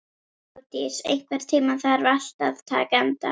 Þeódís, einhvern tímann þarf allt að taka enda.